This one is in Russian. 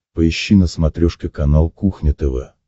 поищи на смотрешке канал кухня тв